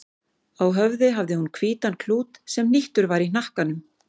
Á höfði hafði hún hvítan klút sem hnýttur var í hnakkanum.